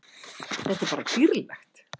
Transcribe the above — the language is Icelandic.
Þetta er bara dýrlegt.